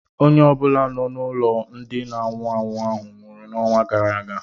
Onye ọ bụla nọ n'ụlọ ndị na anwụ anwụ ahụ nwụrụ n'ọnwa gara aga